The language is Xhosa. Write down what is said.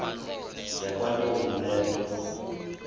yakwantombi le nto